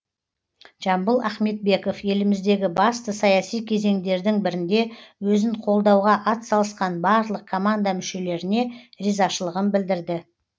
жамбыл ахметбеков еліміздегі басты саяси кезеңдердің бірінде өзін қолдауға атсалысқан барлық команда мүшелеріне ризашылығын білдірді